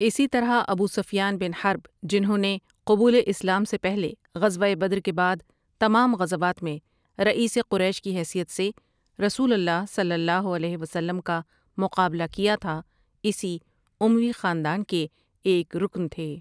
اسی طرح ابوسفیان بن حرب جنھوں نے قبول اسلام سے پہلے غزوہ بدر کے بعد تمام غزوات میں رئیس قریش کی حیثیت سے رسول اللہ صلی اللہ علیہ وسلم کا مقابلہ کیا تھا اسی اموی خاندان کے ایک رکن تھے ۔